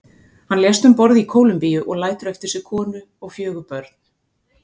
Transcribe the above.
Hann lést um borð í Kólumbíu og lætur eftir sig konu og fjögur börn.